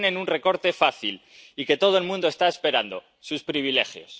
Ahí tienen un recorte fácil y que todo el mundo está esperando sus privilegios.